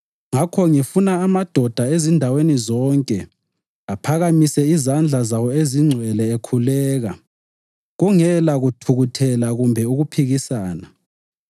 Ngakho ngifuna amadoda ezindaweni zonke aphakamise izandla zawo ezingcwele ekhuleka kungela kuthukuthela kumbe ukuphikisana.